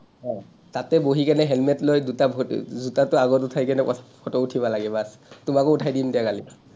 অ, তাতে বহি কিনে হেলমেট লৈ দুটা ভৰি জোতাটো আগত উঠাই কেনে photo উঠিব লাগে বচ, তোমাকো উঠাই দিম দিয়া কালি।